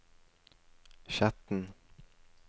Skjetten